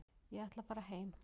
Ég ætla að fara heim.